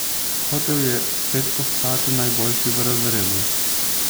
Hotel je spet postati najboljši v razredu.